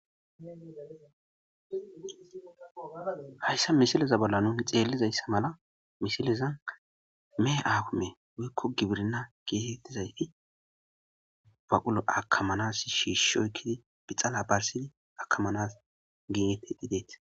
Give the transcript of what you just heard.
hayssa misileza bolla nuni xeellizayssa mala misileza me aakume wuikko gibirna geetettizayti baqulu akamanas shiishshoykidi bixala barsidi akamanas giinetedhideet